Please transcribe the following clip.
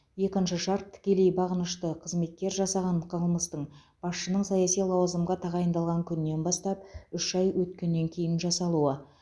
екінші шарт тікелей бағынышты қызметкер жасаған қылмыстың басшының саяси лауазымға тағайындалған күнінен бастап үш ай өткеннен кейін жасалуы